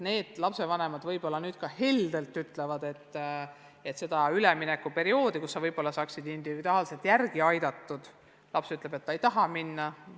Need lapsevanemad võivad nüüd sama heldelt öelda, et seda üleminekuperioodi, mille ajal nende lapsi saaks individuaalselt järele aidata, pole vaja – kui laps ikka ütleb, et ta ei taha minna.